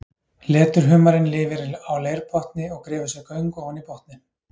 Leturhumarinn lifir á leirbotni og grefur sér göng ofan í botninn.